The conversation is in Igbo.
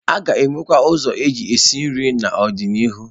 A ga-enwekwu ụzọ eji esi nri n'ọdịnihu.